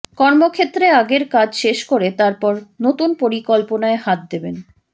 কর্মক্ষেত্রে আগের কাজ শেষ করে তারপর নতুন পরিকল্পনায় হাত দেবেন